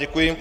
Děkuji.